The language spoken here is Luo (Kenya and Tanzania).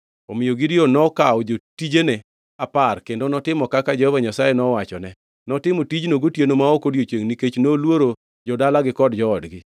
Omiyo Gideon nokawo jotijene apar kendo notimo kaka Jehova Nyasaye nowachone. Notimo tijno gotieno ma ok odiechiengʼ nikech noluoro jo-dalagi kod joodgi.